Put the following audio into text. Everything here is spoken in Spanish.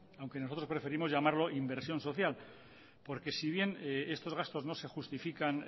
aunque nosotros preferimos llamarlo inversión social porque si bien estos gastos no se justifican